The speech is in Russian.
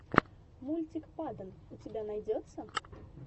мультик падон у тебя найдется